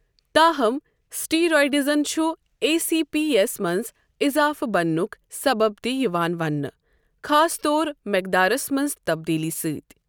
تاہم، سٹیرائڈزن چُھ آے سی پی یس منز اضافہٕ بننُک سبب تِہ یوان وننہٕ، خاص طور مقدارس منز تبدیلی سۭتۍ ۔